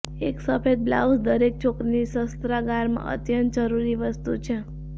એક સફેદ બ્લાઉઝ દરેક છોકરીની શસ્ત્રાગારમાં અત્યંત જરૂરી વસ્તુ છે